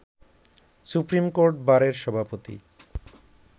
supreme court বারের সভাপতি